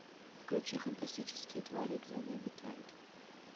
включи фантастические твари и где они обитают